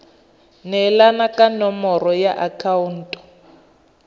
neelana ka nomoro ya akhaonto